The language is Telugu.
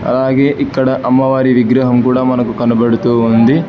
అలాగే ఇక్కడ అమ్మవారి విగ్రహం కూడా మనకు కనబడుతూ ఉంది.